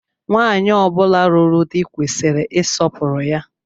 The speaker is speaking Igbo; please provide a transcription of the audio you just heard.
Nwaanyi ọ bula lụrụ di kwesịrị isọpuru ya.